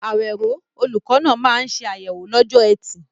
Awero, olùkọ́ náà, máa ń ṣe àyẹ̀wò lọ́jọ́ Ẹtì.